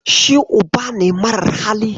Shi uba ne mara hali.